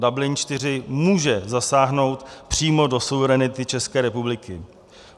Dublin IV. může zasáhnout přímo do suverenity České republiky.